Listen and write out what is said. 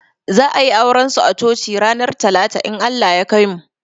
Za a yi auran su a coci ranar talata in Allah ya kaimu